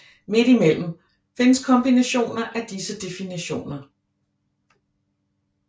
Midt imellem findes kombinationer af disse definitioner